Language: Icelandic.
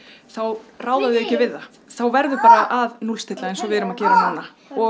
þá ráða þau ekki við það þá verður bara að núllstilla eins og við erum að gera núna og